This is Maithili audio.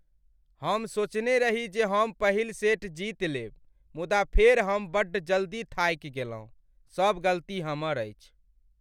हम सोचने रही जे हम पहिल सेट जीत लेब, मुदा फेर हम बड्ड जल्दी थाकि गेलहुँ। सब गलती हमर अछि।